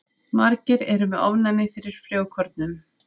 Margir eru með ofnæmi fyrir frjókornum.